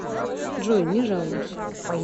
джой не жалуюсь